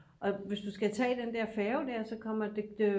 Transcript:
og hvis du skal tage den der færge der så kommer